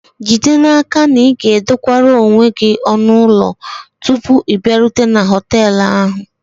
Jide n'aka na ị ga-edokwara onwe gị ọnụ ụlọ tupu ị bịarute na họtel ahụ